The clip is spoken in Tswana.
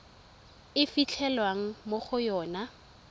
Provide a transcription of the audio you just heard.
e fitlhelwang mo go yona